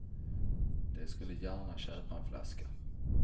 De skulle gärna köpa en flaska.